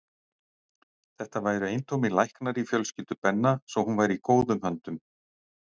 Þetta væru eintómir læknar í fjölskyldu Benna svo hún væri í góðum höndum.